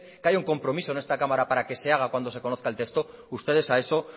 que haya un compromiso en esta cámara para que se haga cuando se conozca el texto ustedes a eso